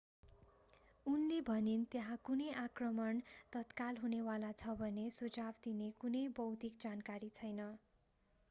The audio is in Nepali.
उनले भनिन् त्यहाँ कुनै आक्रमण तत्काल हुने वाला छ भन्ने सुझाव दिने कुनै बौद्धिक जानकारी छैन